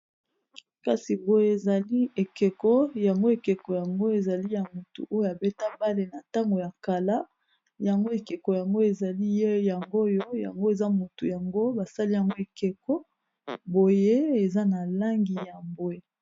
Kasi boye ezali ekeko, yango ekeko yango ezali ya motu oyo abeta mbale na ntango ya kala. Yango ekeko yango ezali oyo mutu yango eza motu yango basali yango ekeko boye eza na langi ya bwe.